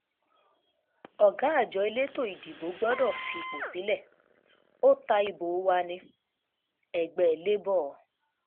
ọ̀gá um àjọ elétò ìdìbò gbọdọ̀ fipò sílẹ̀ ó um ta ìbò wa ní-ẹgbẹ́ labour